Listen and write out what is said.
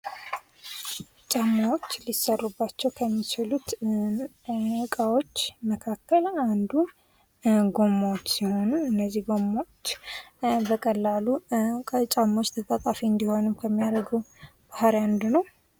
ጫማዎች ሊሰሩባቸው ከሚችሉ እቃዎች መካከል አንዱ ጎማዎች ሲሆኑ ፤ እነዚህ ጎማዎች በቀላሉ ተጣጣፊ እንዲሆኑ ጫማዎች እንዲሆኑ ከሚያደርገው ባህርይ አንዱ ነው።